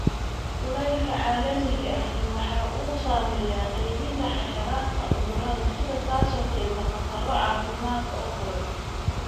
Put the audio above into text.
Kulaylka caalamiga ahi waxa uu saameeyaa qaybinta xasharaadka cudurrada sida, taasoo keenta khataro caafimaad oo kordha.